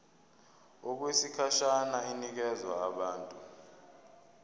okwesikhashana inikezwa abantu